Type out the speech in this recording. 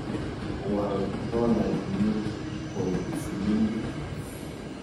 Waal tolait mut koik silingit